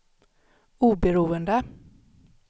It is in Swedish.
oberoende